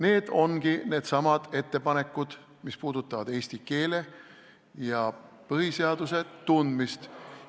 " Need ongi need samad ettepanekud, mis puudutavad eesti keele ja põhiseaduse tundmist.